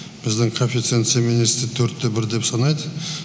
біздің коэфиценция министрі төрт те бір деп санайды